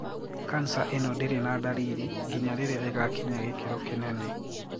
Cancer eno ndiri na ndariri nginya riria igakinya gikiro kinene.